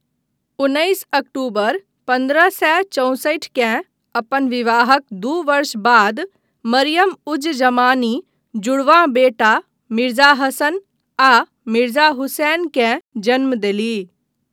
उन्नैस अक्टूबर पन्द्रह सए चौंसठि केँ, अपन विवाहक दू वर्ष बाद मरियम उज जमानी जुड़वाँ बेटा मिर्जा हसन आ मिर्जा हुसैन केँ जन्म देलीह।